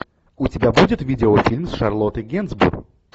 у тебя будет видеофильм с шарлоттой генсбур